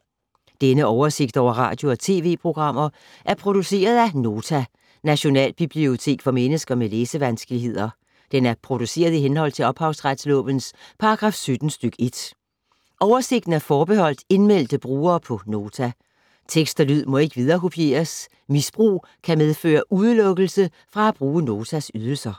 Denne oversigt over radio og TV-programmer er produceret af Nota, Nationalbibliotek for mennesker med læsevanskeligheder. Den er produceret i henhold til ophavsretslovens paragraf 17 stk. 1. Oversigten er forbeholdt indmeldte brugere på Nota. Tekst og lyd må ikke viderekopieres. Misbrug kan medføre udelukkelse fra at bruge Notas ydelser.